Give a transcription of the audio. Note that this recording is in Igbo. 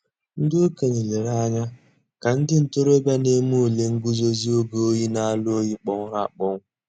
Ǹdí òkènye lèrè ànyà kà ńdí ntòròbịa nà-èmè ǔlè ngùzòzì ògè òyì n'àlà òyì kpọ̀nwụrụ̀ àkpọnwụ̀.